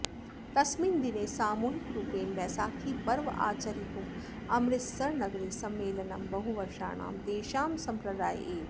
तस्मिन् दिने सामूहिकरुपेण बैसाखीपर्व आचरितुम् अमृतसरनगरे सम्मेलनं बहुवर्षाणां तेषां सम्प्रदायः एव